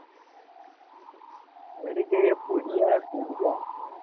વડી કે એ પુડિયા પુડિયા પુડિયા